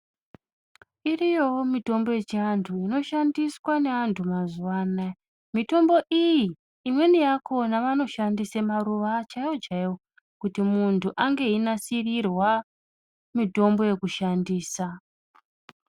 Iriyowo mitombo yechiantu inoshandiswa neantu mazuwa anaya . Mitombo iyi imweni yakhona vanoshandisa, maruwa chaiwo chaiwo, kuti muntu ange einasirirwa, mitombo yekushandisa.